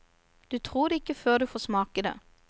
Du tror det ikke før du får smake det.